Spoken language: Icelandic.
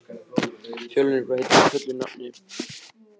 Fjölnir, hvað heitir þú fullu nafni?